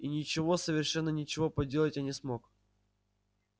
и ничего совершенно ничего поделать я не смог